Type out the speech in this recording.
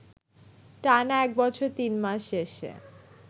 টানা এক বছর তিন মাস শেষে